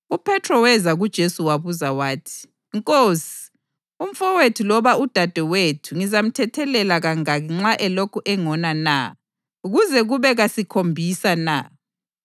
UPhethro weza kuJesu wabuza wathi, “Nkosi, umfowethu loba udadewethu ngizamthethelela kangaki nxa elokhu engona na? Kuze kube kasikhombisa na?”